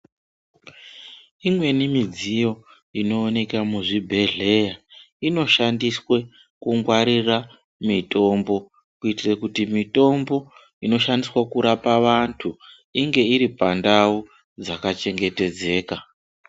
Imweni midziyo inooneka muzvibhedhlera inoshandiswa kungwarira mitombo kuitira kuti mitombo inoshandiswa kurapa vantu inge iripandau dzakachengetedzeka.